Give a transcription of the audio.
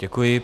Děkuji.